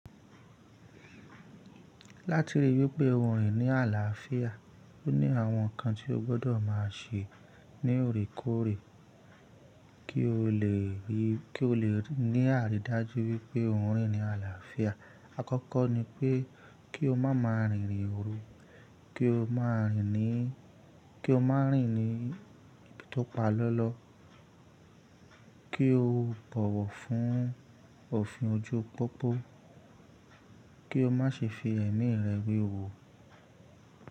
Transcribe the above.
Láti ríi wípé o rìn ní àlàáfíà, o ní àwọn nǹkan tí o gbọ́dọ̀ máa ṣe ní òrèkóòrè kí o lè rí, kí o lè ní àrídájú wípé o rìn ní àlàáfíà. Àkọ́kọ́ ni pé kí o má má rìn rìn òru, kí o má rìn ní, kí o má rìn ní tópa lọ́lọ́, kí o bọ̀wọ̀ fún òfin ojú pópó, kí o má ṣe fi ẹ̀mí rẹ wewu.